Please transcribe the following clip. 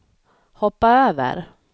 hoppa över